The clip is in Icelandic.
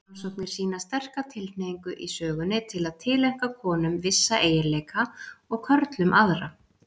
Rannsóknir sýna sterka tilhneigingu í sögunni til að tileinka konum vissa eiginleika og körlum aðra.